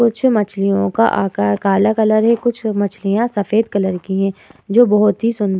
कुछ मछलिओं का आकार काले कलर की हैं। कुछ मछलीयाँ सफेद कलर की हैं जो बहोत ही सुंदर --